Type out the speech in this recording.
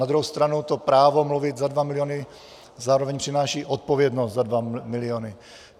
Na druhou stranu to právo mluvit za dva miliony zároveň přináší odpovědnost za dva miliony.